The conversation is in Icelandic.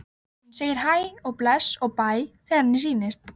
Hún segir hæ og bless og bæ þegar henni sýnist!